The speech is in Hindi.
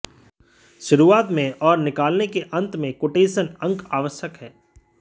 शुरुआत में और निकालने के अंत में कोटेशन अंक आवश्यक हैं